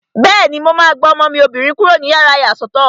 Bẹ́ẹ̀ni, mo máa gba ọmọ mi obìnrin kúrò nínú yàrá ìyàsọ́tọ̀